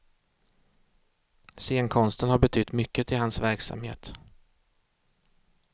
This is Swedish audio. Scenkonsten har betytt mycket i hans verksamhet.